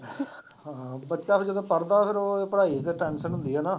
ਹਾਂ ਬੱਚਾ ਫਿਰ ਜਦੋਂ ਪੜ੍ਹਦਾ ਫਿਰ ਉਹ ਪੜ੍ਹਾਈ ਦੀ tension ਹੁੰਦੀ ਹੈ ਨਾ।